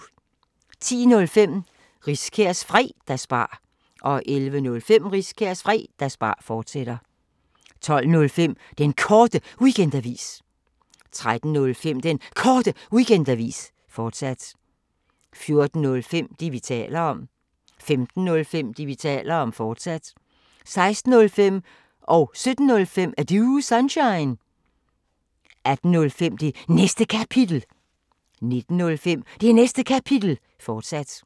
10:05: Riskærs Fredagsbar 11:05: Riskærs Fredagsbar, fortsat 12:05: Den Korte Weekendavis 13:05: Den Korte Weekendavis, fortsat 14:05: Det, vi taler om 15:05: Det, vi taler om, fortsat 16:05: Er Du Sunshine? 17:05: Er Du Sunshine? 18:05: Det Næste Kapitel 19:05: Det Næste Kapitel, fortsat